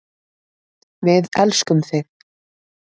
Við elskum þig.